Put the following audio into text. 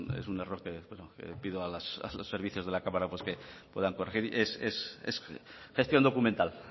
es un error que pido a los servicios de la cámara puedan corregir es gestión documental